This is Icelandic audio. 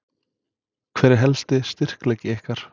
Hver er helsti styrkleiki ykkar?